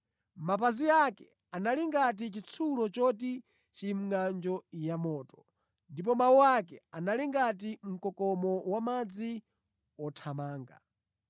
Mapazi ake anali ngati chitsulo choti chili mʼngʼanjo yamoto, ndipo mawu ake anali ngati mkokomo wamadzi othamanga.